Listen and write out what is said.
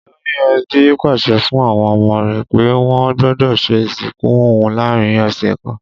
Olórí e̩bí pàs̩e̩ fún àwo̩n o̩mo̩ rè̩ pé wó̩n gbó̩dò̩ s̩e ìsìnkú òun láàárin ò̩sè̩ kan